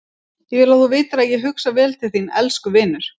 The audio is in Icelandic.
Ég vil þú vitir að ég hugsa vel til þín- elsku vinur.